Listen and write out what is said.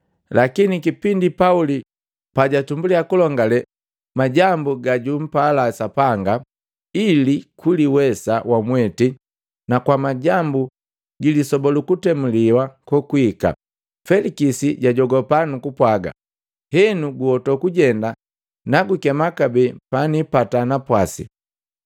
Lakini kipindi Pauli pajatumbuliya kulongale majambu gajupala Sapanga, ili kuliwesa wamweti na kwamajambu gilisoba lukutemuliwa kokwiika, Felikisi jajogapa nukupwaga, “Henu guhoto kujenda nagukema kabee panipata napwasi,”